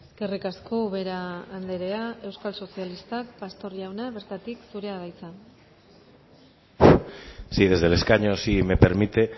eskerrik asko ubera andrea euskal sozialistak pastor jauna bertatik zurea da hitza sí desde el escaño si me permite